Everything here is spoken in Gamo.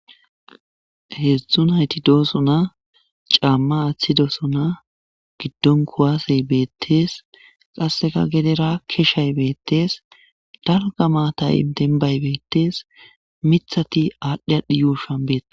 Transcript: Hedzdzun hayti dooso na caamma aaththi dooso na giddon kuwaasey beettees qasseka gedera keeshay beettees dalga maatay benbay beettees mithati aadhdhi adhi yuushan beettes.